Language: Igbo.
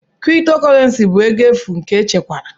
Kriptokorenci bụ ego efu nke echekwara.